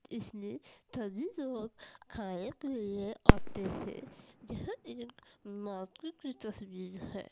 इसमें सभी लोग खाने के लिए आते हैं यह एक मार्केट की तस्वीर है।